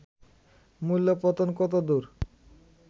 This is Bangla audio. মূল্য-পতন কতদূর